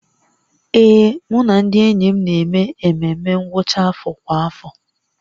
Ee, mụ na ndị enyi m na-eme ememme ngwụcha afọ kwa afọ